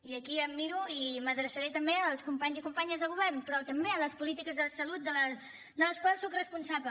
i aquí em miro i m’hi adreçaré també els companys i companyes de govern però també a les polítiques de salut de les quals soc responsable